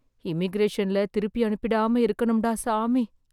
இமிக்ரேஷன்ல திருப்பியனுப்பிடாம இருக்கணும் டா சாமி!